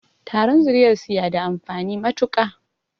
Taron zuriyarsu ya da amfani matuƙa